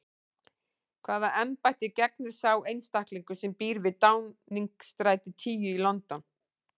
Hvaða embætti gegnir sá einstaklingur sem býr við Downingstræti tíu í London?